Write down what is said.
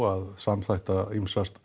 að samþætta ýmsa